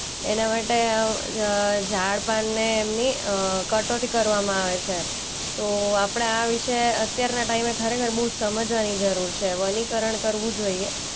એના માટે આ અ ઝાડપાનને એમની અ કટરી કરવામાં આવે છે. તો આપણે આ વિશે અત્યારના ટાઈમે ખરેખર બોઉ જ સમજવાની જરૂર છે. વનીકરણ કરવું જોઈએ.